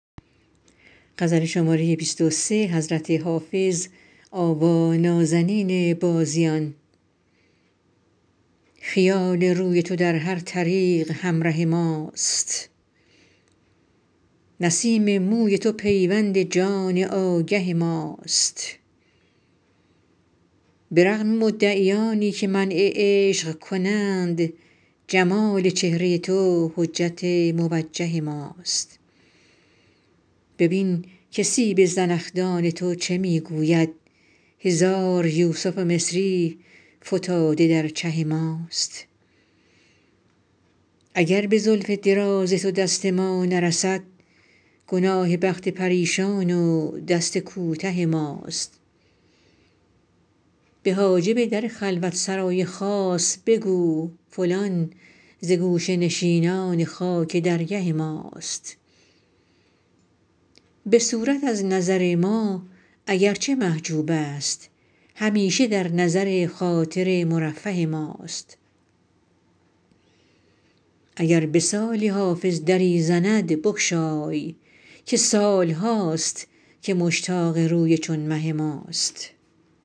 خیال روی تو در هر طریق همره ماست نسیم موی تو پیوند جان آگه ماست به رغم مدعیانی که منع عشق کنند جمال چهره تو حجت موجه ماست ببین که سیب زنخدان تو چه می گوید هزار یوسف مصری فتاده در چه ماست اگر به زلف دراز تو دست ما نرسد گناه بخت پریشان و دست کوته ماست به حاجب در خلوت سرای خاص بگو فلان ز گوشه نشینان خاک درگه ماست به صورت از نظر ما اگر چه محجوب است همیشه در نظر خاطر مرفه ماست اگر به سالی حافظ دری زند بگشای که سال هاست که مشتاق روی چون مه ماست